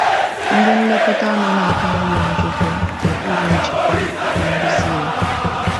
Ndị nlekọta nọ n’aka nri Nwachukwu—n’okpuru njikwa na nduzi ya.